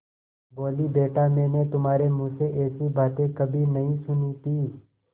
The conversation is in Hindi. बोलीबेटा मैंने तुम्हारे मुँह से ऐसी बातें कभी नहीं सुनी थीं